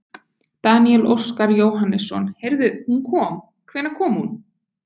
Daníel Óskar Jóhannesson: Heyrðu hún kom, hvenær kom hún?